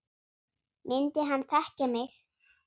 Myndi hann þekkja mig?